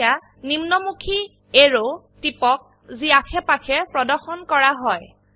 এতিয়া নিম্নমুখী এৰো টিপক যি অাশেপাশে প্ৰদৰ্শন কৰা হয়